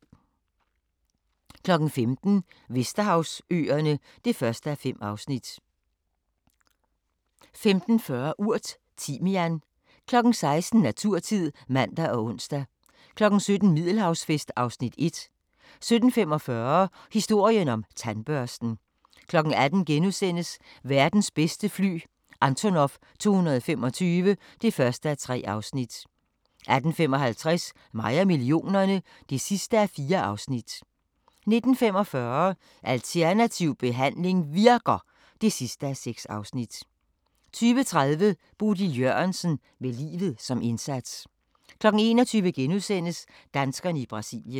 15:00: Vesterhavsøerne (1:5) 15:40: Urt: Timian 16:00: Naturtid (man og ons) 17:00: Middelhavsfest (Afs. 1) 17:45: Historien om tandbørsten 18:00: Verdens bedste fly – Antonov 225 (1:3)* 18:55: Mig og millionerne (4:4) 19:45: Alternativ behandling virker! (6:6) 20:30: Bodil Jørgensen – med livet som indsats 21:00: Danskerne i Brasilien *